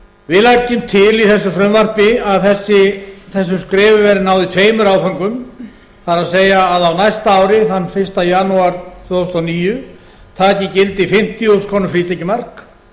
við leggjum til í þessu frumvarpi að þessum skrefum verði náð í tveimur áföngum það er að á næsta ári þann fyrsta janúar tvö þúsund og níu taki gildi fimmtíu þúsund króna frítekjumark